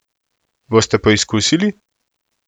Boste poskusili?